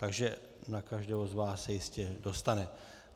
Takže na každého z vás se jistě dostane.